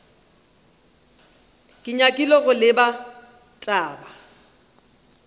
ke nyakile go lebala taba